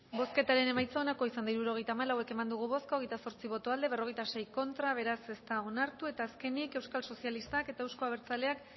bozketaren emaitza onako izan da hirurogeita hamalau eman dugu bozka hogeita zortzi boto aldekoa cuarenta y seis contra beraz ez da onartu eta azkenik euskal sozialistak eta euzko abertzaleak